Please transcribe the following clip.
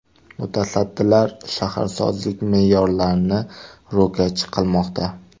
Mutasaddilar shaharsozlik me’yorlarini ro‘kach qilmoqda.